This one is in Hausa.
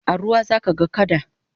a ruwa zaka ga kada